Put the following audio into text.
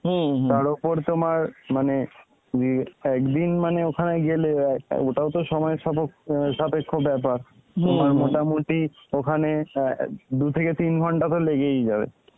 তার ওপর তোমার মানে ইয়ে একদিন মানে ওখানে গেলে অ্যাঁ ওটাও তো সময় সাপক্ষ~ অ্যাঁ সাপেক্ষ ব্যাপার তোমার মোটামুটি ওখানে অ্যাঁ দু থেকে তিন ঘন্টা তো লেগেই যাবে.